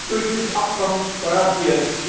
Das ist durch dieses Abkommen garantiert.